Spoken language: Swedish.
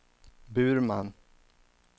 Burman